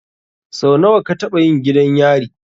Sau nawa ka taɓa zuwa gidan yari?